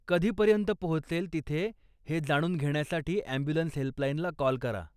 कधी पर्यंत पोहचेल तिथे हे जाणून घेण्यासाठी ॲम्ब्युलन्स हेल्पलाईनला कॉल करा.